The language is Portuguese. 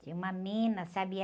Tinha uma mina, sabe? E